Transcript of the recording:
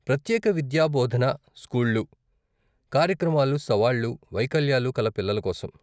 ప్రత్యేక విద్యాబోధన స్కూళ్ళు, కార్యక్రమాలు సవాళ్లు, వైకల్యాలు కల పిల్లల కోసం.